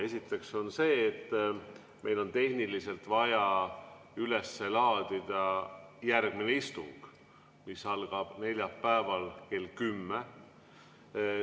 Esiteks on meil tehniliselt vaja üles laadida järgmine istung, mis algab neljapäeval kell 10.